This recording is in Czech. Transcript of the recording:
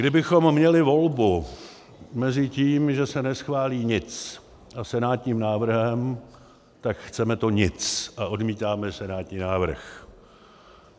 Kdybychom měli volbu mezi tím, že se neschválí nic, a senátním návrhem, tak chceme to nic a odmítáme senátní návrh.